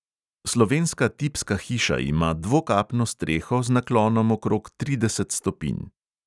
Slovenska tipska hiša ima dvokapno streho z naklonom okrog trideset stopinj.